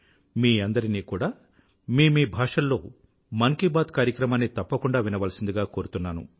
మీ అందరినీ కూడా మీ మీ భాషల్లో మన్ కీ బాత్ కార్యక్రమాన్ని తప్పకుండా వినవలసిందిగా కోరుతున్నాను